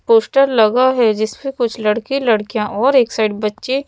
poster लगा है जिस पे कुछ लड़के लड़कियां और एक साइड बच्चे--